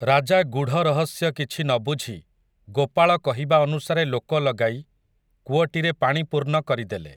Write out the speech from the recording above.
ରାଜା ଗୂଢ଼ ରହସ୍ୟ କିଛି ନ ବୁଝି ଗୋପାଳ କହିବା ଅନୁସାରେ ଲୋକ ଲଗାଇ କୂଅଟିରେ ପାଣି ପୂର୍ଣ୍ଣ କରିଦେଲେ ।